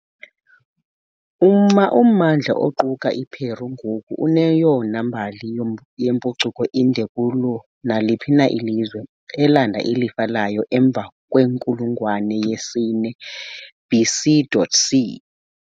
Ummandla oquka iPeru ngoku uneyona mbali yempucuko inde kulo naliphi na ilizwe, elanda ilifa layo emva kwenkulungwane yesine BC.C.